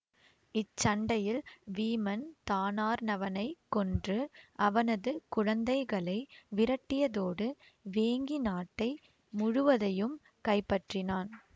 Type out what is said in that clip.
இச்சண்டையில் வீமன் தானார்ணவனைக் கொன்று அவனது குழந்தைகளை விரட்டியதோடு வேங்கி நாட்டை முழுவதையும் கைப்பற்றினான்